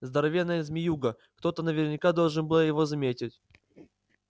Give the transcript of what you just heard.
здоровенная змеюга кто-то наверняка должен был его заметить